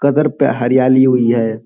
कदर पे हरयाली हुई है।